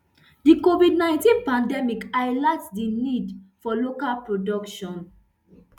di covid nineteen pandemic highlight di need for local production